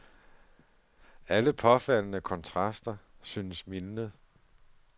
Alle påfaldende kontraster synes mildnet.